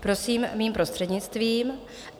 Prosím, mým prostřednictvím.